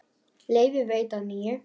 Leyfi veitt að nýju